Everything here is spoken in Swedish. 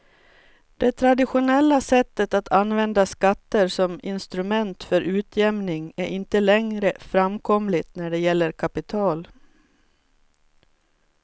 Det traditionella sättet att använda skatter som instrument för utjämning är inte längre framkomligt när det gäller kapital.